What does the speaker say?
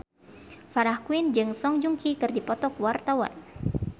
Farah Quinn jeung Song Joong Ki keur dipoto ku wartawan